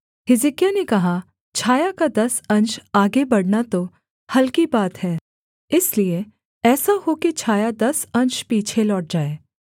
हिजकिय्याह ने कहा छाया का दस अंश आगे बढ़ना तो हलकी बात है इसलिए ऐसा हो कि छाया दस अंश पीछे लौट जाए